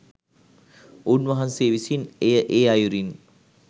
උන්වහන්සේ විසින් එය ඒ අයුරින්